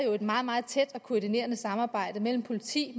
jo et meget meget tæt og koordineret samarbejde mellem politi